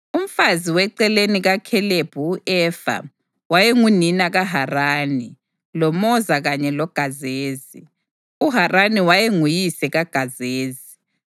Umfazi weceleni kaKhalebi u-Efa wayengunina kaHarani, loMoza kanye loGazezi. UHarani wayenguyise kaGazezi.